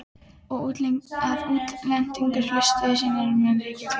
Að útglenntar hlustir þínar munu brátt ríkja í klefanum.